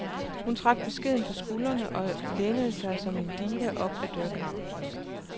Hun trak beskedent på skuldrene og lænede sig som en diva op ad dørkarmen.